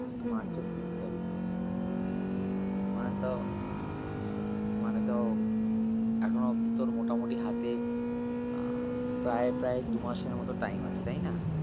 march এর তিন তারিখ মানে তাও মানে তাও এখনো অবদি তোর মোটামোটি হাতে আহ প্রায় প্রায় দু মাসের মত time আছে তাই না?